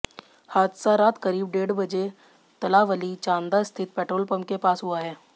हादसा रात करीब डेढ़ बजे तलावली चांदा स्थित पेट्रोल पंप के पास हुआ है